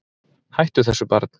Hættu þessu barn!